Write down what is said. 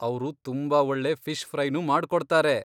ಅವ್ರು ತುಂಬಾ ಒಳ್ಳೆ ಫಿಷ್ ಫ್ರೈನೂ ಮಾಡ್ಕೊಡ್ತಾರೆ.